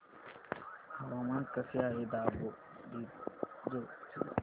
हवामान कसे आहे दापोरिजो चे